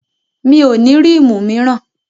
Mi ò ní rímù míràn.